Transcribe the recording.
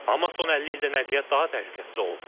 Amma son 50 ildə nəqliyyat daha təhlükəsiz olub.